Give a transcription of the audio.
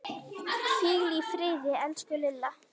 Hvíl í friði, elsku Lilla.